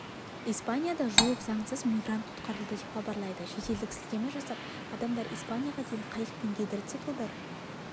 испанияда жуық заңсыз мигрант құтқарылды деп хабарлайды шетелдік сілтеме жасап адамдар испанияға дейін қайық пен гидроциклдар